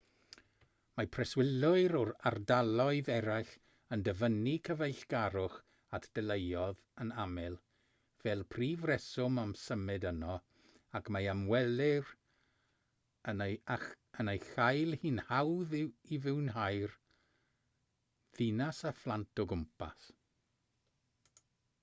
mae preswylwyr o ardaloedd eraill yn dyfynnu cyfeillgarwch at deuluoedd yn aml fel prif reswm am symud yno ac mae ymwelwyr yn ei chael hi'n hawdd i fwynhau'r ddinas â phlant o gwmpas